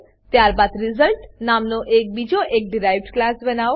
ત્યારબાદ રિઝલ્ટ નામનો બીજો એક ડીરાઇવ્ડ ક્લાસ બનાવો